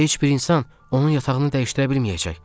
Heç bir insan onun yatağını dəyişdirə bilməyəcək.